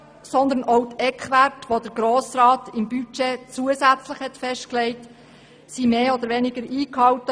Vielmehr wurden auch die Eckwerte, die der Grosse Rat im Budget zusätzlich festgelegt hat, mehr oder weniger eingehalten.